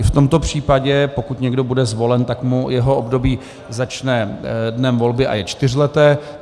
I v tomto případě, pokud někdo bude zvolen, tak mu jeho období začne dnem volby a je čtyřleté.